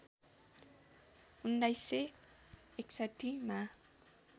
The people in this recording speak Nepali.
१९६१ मा